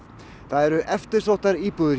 það eru eftirsóttar íbúðir